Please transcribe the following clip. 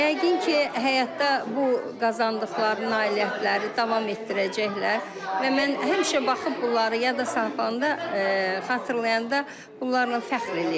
Yəqin ki, həyatda bu qazandıqları nailiyyətləri davam etdirəcəklər və mən həmişə baxıb bunları yada salanda, xatırlayanda bunlarla fəxr eləyəcəm.